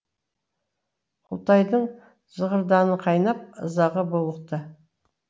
құлтайдың зығырданы қайнап ызаға булықты